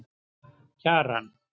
Kjaran